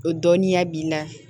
O dɔnniya b'i la